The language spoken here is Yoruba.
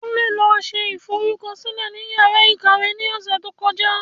Kunle lọ se ìforúkọsílẹ ní yàrá ìkàwé ní ọ̀sẹ̀ tó kọjá